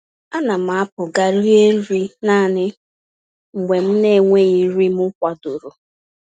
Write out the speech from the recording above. Ánám apụ gaa rie nri naanị mgbe m naenweghị nri m kwadoro akwado